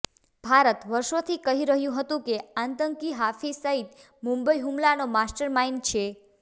ભારત વર્ષોથી કહી રહ્યું હતું કે આતંકી હાફિઝ સઇદ મુંબઇ હુમલાનો માસ્ટરમાઇન્ડ છે